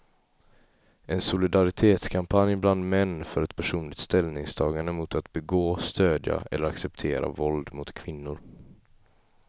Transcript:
En solidaritetskampanj bland män för ett personligt ställningstagande mot att begå, stödja eller acceptera våld mot kvinnor.